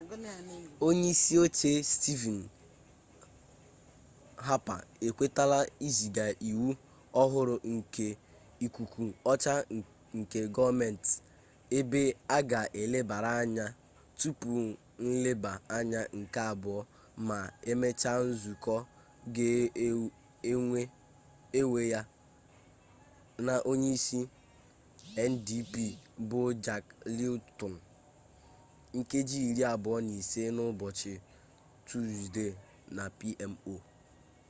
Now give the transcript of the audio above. onye isi oche stivin hapa ekwetala iziga iwu ọhụrụ nke ikuku ọcha nke gọọmenti ebe a ga elebara ya anya tupu nleba anya nke abụọ ma emechaa nzukọ ga-ewe ya na onye isi ndp bụ jak leeton nkeji iri abụọ na ise n'ụbọchị tuzde na pmo